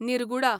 निर्गुडा